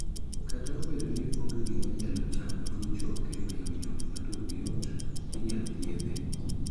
Kata obedo ni onge gima nyalo chango tuo choke mayomyom ma turgi yot, inyal thiedhe.